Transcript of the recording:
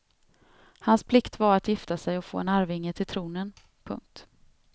Hans plikt var att gifta sig och få en arvinge till tronen. punkt